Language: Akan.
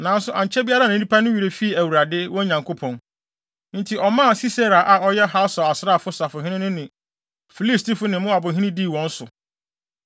“Nanso ankyɛ biara na nnipa no werɛ fii Awurade, wɔn Nyankopɔn, enti ɔmaa Sisera a ɔyɛ Hasor asraafo sahene no ne Filistifo ne Moabhene dii wɔn so.